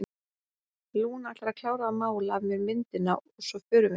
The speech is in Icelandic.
Lúna ætlar að klára að mála af mér myndina og svo förum við.